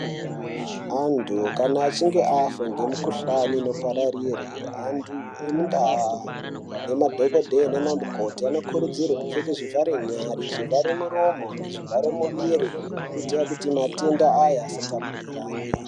Antu kana achinge afa ngemikuhlani inopararire, antu emundaa nemadhokodheye nanamukoti anokurudzirwe kupfeke zvivharenyare, zvivharemuromo nezvivharemuviri kuita kuti matenda aya asatapurirane.